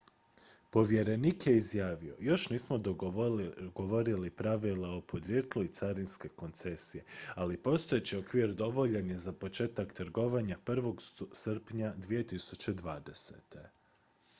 "povjerenik je izjavio: "još nismo dogovorili pravila o podrijetlu i carinske koncesije ali postojeći okvir dovoljan je za početak trgovanja 1. srpnja 2020.""